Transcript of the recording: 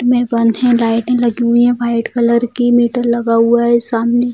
में बंधे लाइटें लगी हुई है वाइट कलर की मीटर लगा हुआ है सामने।